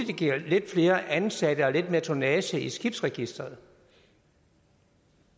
det giver lidt flere ansatte og lidt mere tonnage i skibsregisteret